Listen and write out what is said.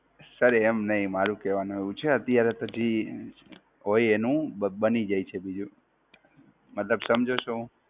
Sir એમ નહિ મારુ કેવાનું એવું છે, અત્યારે તો ઈ હોય એનું બની જાઈ છે બીજું, મતલબ સમજો છો?